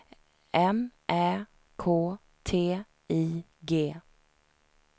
M Ä K T I G